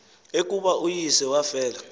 ekubeni uyise wafela